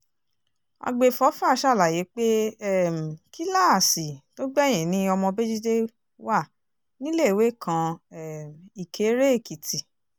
àgbẹ̀fọ́fà ṣàlàyé pé um kíláàsì tó gbẹ̀yìn ni ọmọ béjídé wà níléèwé girama kan um ìkéré-èkìtì